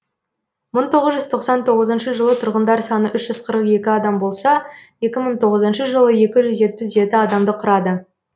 мың тоғыз жүз тоқсан тоғызыншы жылы тұрғындар саны үш жүз қырық екі адам болса екі мың тоғызыншы жылы екі жүз жетпіс жеті адамды құрады